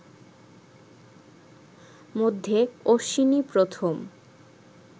মধ্যে অশ্বিনী প্রথম